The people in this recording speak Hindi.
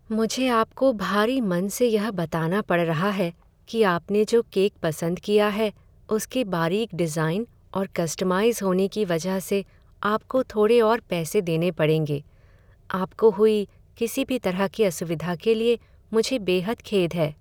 मुझे आपको भारी मन से यह बताना पड़ रहा है कि आपने जो केक पसंद किया है उसके बारीक डिज़ाइन और कस्टमाइज़ होने की वजह से, आपको थोड़े और पैसे देने पड़ेंगे। आपको हुई किसी भी तरह की असुविधा के लिए मुझे बेहद खेद है।